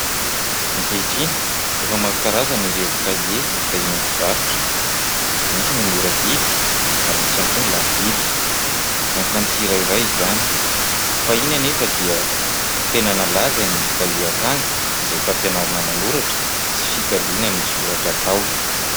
Ankehitriny efa maro karazany ireo kahie hita eny amin'ny mpivarotra. Misy ny mora vidy, ary misy ihany koa ny lafo vidy. Miankina amin'ny tsirairay izany. Fahiny anefa dia tena nalaza ny kahie akanga izay fampianarana manoratra sy fikaliana ny soratra atao.